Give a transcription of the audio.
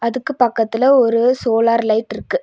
அதுக்கு பக்கத்துல ஒரு சோலார் லைட்ருக்கு .